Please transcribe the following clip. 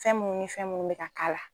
Fɛn minnu, ni fɛn minnu bɛ ka k'ala la